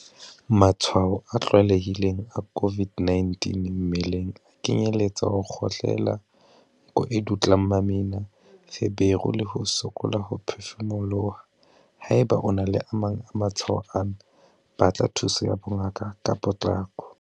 Matshwao a tlwaelehileng a COVID-19 mmeleng a kenyeletsa ho kgohlela, nko e dutlang mamina, feberu le ho sokola ho phefumoloha. Haeba o na le a mang a matshwao ana, batla thuso ya bongaka ka potlako.